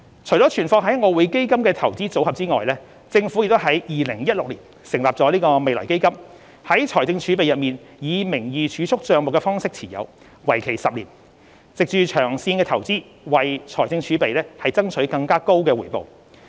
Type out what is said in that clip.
除了存放於外匯基金的"投資組合"外，政府亦於2016年成立未來基金，在財政儲備內以名義儲蓄帳目的方式持有，為期10年，藉長線投資為財政儲備爭取更高回報。